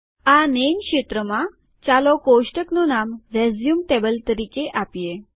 આ નેમ ક્ષેત્રમાં ચાલો કોષ્ટકનું નામ રેઝ્યુમ ટેબલ તરીકે આપીએ